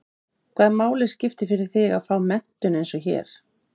Lillý Valgerður Pétursdóttir: Hvaða máli skiptir fyrir þig að fá þessa menntun eins og hér?